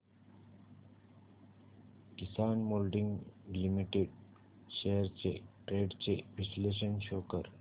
किसान moulding limited shares trends चे विश्लेषण show कर